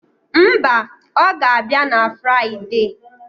Mba, ọ ga-abịa na Friade.